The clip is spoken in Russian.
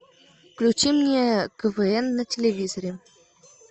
включи мне квн на телевизоре